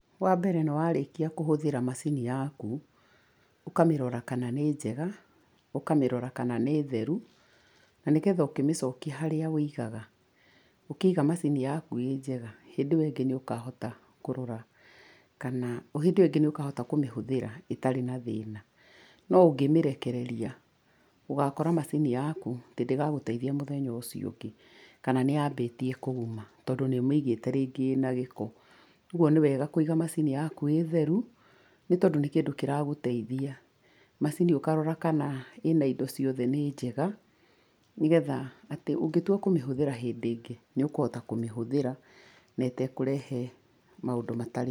Wa mbere nĩ warĩkia kũhũthĩra macini yaku, ũkamĩrora kana nĩ njega ũkamĩrora kana nĩ theru, na nĩgetha ũkĩmĩcokia harĩa wũigaga, ũkĩiga macini yaku ĩ njega, hĩndĩ ĩyo ĩngĩ nĩ ũkahota kũrora kana hĩndĩ ĩyo ĩngĩ nĩ ũkahota kũmĩhũthĩra ĩtarĩ na thĩna. No ũngĩ mĩrekereria, ũgakora macini yaku atĩ ndĩgagũteithia mũthenya ũcio ũngĩ, kana nĩ yaambĩtie kũguma tondũ nĩ ũmĩigĩte rĩngĩ ĩna gĩko. Kwoguo nĩ wega kũiga macini yaku ĩ theru, nĩ tondũ nĩ kĩndũ kĩragũteithia. Macini ũkarora kana ĩna indo ciothe nĩ njega, nĩgetha atĩ ũngĩtua kũmĩhũthĩra hindĩ ĩngĩ, nĩ ũkũhota kũmĩhũthĩra na ĩtekũrehe maũndũ matarĩ-